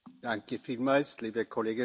Liebe Kolleginnen und Kollegen!